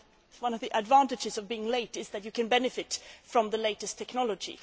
One of the advantages of being late is that you can benefit from the latest technology.